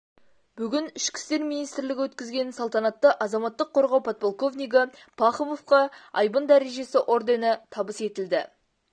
бүгін ішкі істер министрлігі өткізген салтанатта азаматтық қорғау подполковнигі пахомовқа айбын дәрежесі ордені табыс етілді